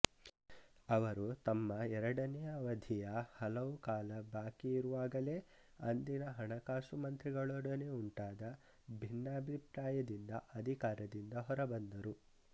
ಅವರು ತಮ್ಮ ಎರಡನೆಯ ಅವಧಿಯ ಹಲವು ಕಾಲ ಬಾಕಿ ಇರುವಾಗಲೇ ಅಂದಿನ ಹಣಕಾಸು ಮಂತ್ರಿಗಳೊಡನೆ ಉಂಟಾದ ಭಿನ್ನಾಭಿಪ್ರಾಯದಿಂದ ಅಧಿಕಾರದಿಂದ ಹೊರಬಂದರು